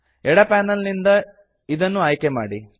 ಎಡ ಪ್ಯಾನಲ್ ನಿಂದ ಅದನ್ನು ಆಯ್ಕೆ ಮಾಡಿ